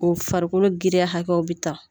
O farikolo giriyaw hakɛ bɛ ta.